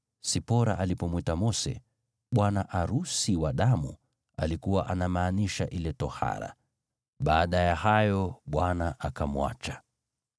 Sipora alipomwita Mose, “Bwana arusi wa damu,” alikuwa anamaanisha ile tohara. Baada ya hayo Bwana akamwacha.